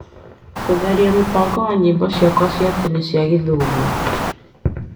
Gũtharia mũbango wakwa wa nyĩmbo cia tene cia gĩthũngũ.